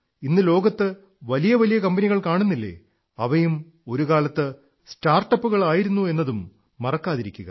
ഇന്ന് ലോകത്തു കാണുന്ന വലിയ വലിയ കമ്പനികൾ കാണപ്പെടുന്നില്ലേ അവയും ഒരുകാലത്ത് സ്റ്റാർട്ടപ്പുകളായിരുന്നു എന്നതു മറക്കാതിരിക്കുക